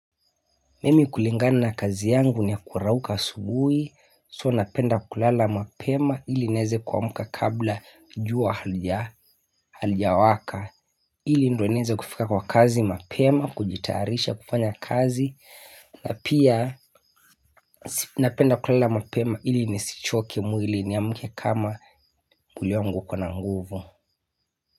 Mimi kulingana na kazi yangu ni ya kurauka asubuhi So napenda kulala mapema ili nieze kuamka kabla jua halija, halijawaka ili ndo nieze kufika kwa kazi mapema, kujitarisha kufanya kazi na pia napenda kulala mapema ili nisichoke mwili niamke kama mwili wangu ukona nguvu.